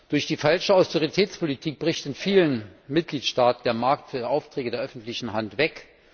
Durch die falsche Austeritätspolitik bricht in vielen Mitgliedstaaten der Markt für Aufträge der öffentlichen Hand weg.